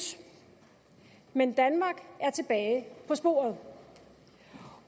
men danmark er tilbage på sporet